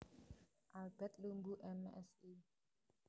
Albert Lumbu M Si